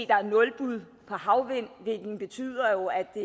der er nulbud på havvind hvilket betyder at det